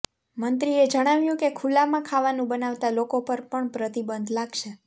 મંત્રીએ જણાવ્યું કે ખુલ્લામાં ખાવાનું બનાવતા લોકો પર પણ પ્રતિબંધ લાગશે